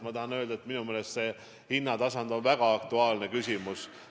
Ma tahan öelda, et minu meelest on see väga aktuaalne küsimus.